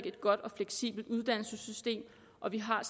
et godt og fleksibelt uddannelsessystem og vi har